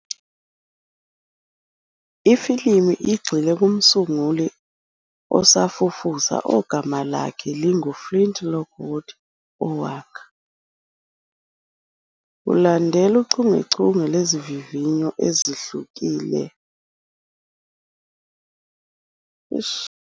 Ifilimu igxile kumsunguli osafufusa ogama lakhe lingu-Flint Lockwood owakha, kulandela uchungechunge lwezivivinyo ezihlulekile, umshini ongaguqula amanzi abe ukudla. Ngemuva kokuthi umshini uthole imizwa futhi uqala ukwenza izivunguvungu zokudla, u-Flint kufanele awumise ukuze asindise umhlaba.